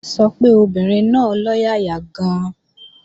Kíkẹ́ sọ pé obìnrin náà lọ́yàyà gan-an